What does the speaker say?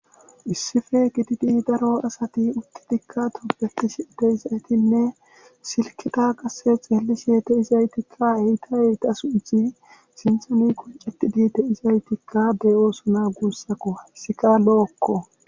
Issife gididi daro asatikka tobbetishe dizaytinne silkketa qasse xeeellishe de7izaytikka eeta eeta sunthi sinthani qucettidi de7izaytikka de7oosona guusako hayssika lo7okko.